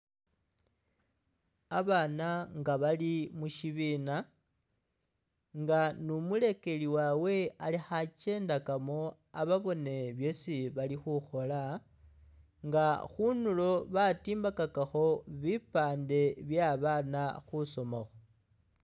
Abana nga bali mukyibina inga ni mulekeli wawe alikho akyendakamo ababone byesi bali khukhola inga khundulo batimbakhakhakho bipande bye abana khusomakho.